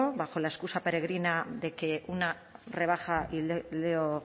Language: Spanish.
bajo la excusa peregrina de que una rebaja y leo